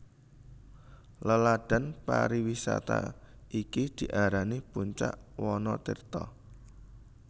Laladan pariwisata iki diarani Puncak Wanatirta